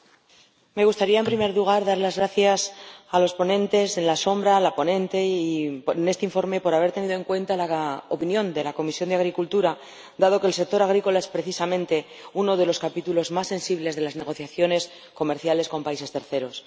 Señor Presidente, me gustaría, en primer lugar, dar las gracias a los ponentes en la sombra y a la ponente de este informe por haber tenido en cuenta la opinión de la Comisión de Agricultura, dado que el sector agrícola es, precisamente, uno de los capítulos más sensibles de las negociaciones comerciales con países terceros.